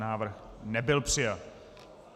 Návrh nebyl přijat.